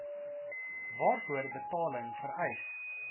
waarvoor betaling vereis